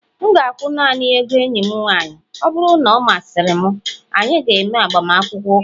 M ga-akwụ naanị ego enyi m nwanyị, ọ bụrụ na ọ masịrị m, anyị ga-eme agbamakwụkwọ ụka